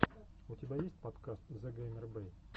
у тебя есть подкаст зэгеймербэй